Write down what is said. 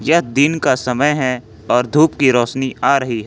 दिन का समय है और धूप की रोशनी आ रही है।